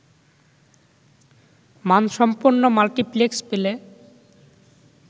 মানসম্পন্ন মাল্টিপ্লেক্স পেলে